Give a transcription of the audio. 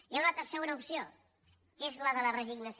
hi ha una altra segona opció que és la de la resignació